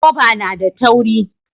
Goba na da tauri